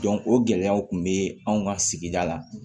o gɛlɛyaw tun bɛ anw ka sigida la